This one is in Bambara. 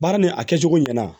Baara nin a kɛcogo ɲɛna